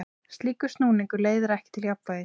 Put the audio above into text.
Slíkur snúningur leiðir ekki til jafnvægis.